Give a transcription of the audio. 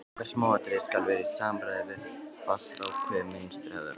Hvert smáatriði skal vera í samræmi við fastákveðið mynstur hefðarinnar.